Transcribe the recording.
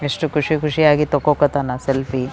ಎಸ್ಟ್ ಖುಷಿ ಖುಷಿಯಾಗಿ ತಾಕೋಕ್ ಹಾತ್ತಾನ ಸೆಲ್ಫಿಯೇ .